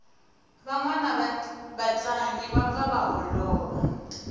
vanwani va tlangi va pfa va holova